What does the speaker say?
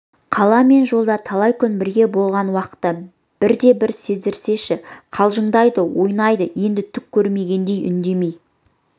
қала мен жолда талай күн бірге болған уақытта бірде-бір сездірсеші қалжыңдайды ойнайды енді түк көрмегендей үндемей